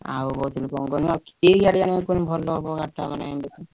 ଆଉ କଣ କହିଲ କି ଗାଡି ଆଣିଲେ ଭଲ ହବ ଗାଡି ଟା ମାନେ ବେଶୀ?